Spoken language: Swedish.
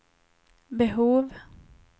behov